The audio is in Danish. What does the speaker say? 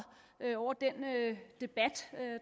over den debat